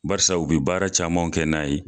Barisa u bɛ baara caman kɛ n'a ye.